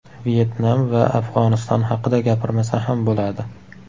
Vyetnam va Afg‘oniston haqida gapirmasa ham bo‘ladi.